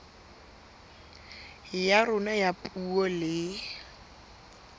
ya rona ya puo le